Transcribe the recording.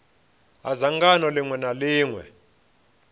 ha dzangano ḽiṅwe na ḽiṅwe